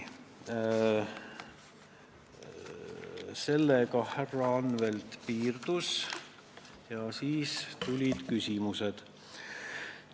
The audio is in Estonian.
Sellega härra Anvelt piirdus ja siis tulid küsimused.